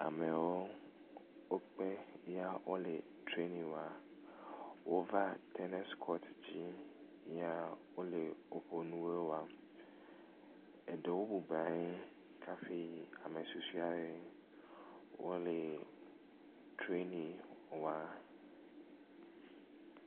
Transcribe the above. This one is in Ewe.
Amewo wokpe yea wole trɛni wɔm. Wova tenisi kɔti dzi yea wole woƒe nuwo wɔm. Aɖewo bɔblɔ nɔ anyi kaƒui ame susɔe wole trɛni wɔm